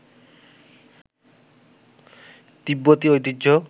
তিব্বতী ঐতিহ্যে